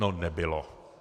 No nebylo.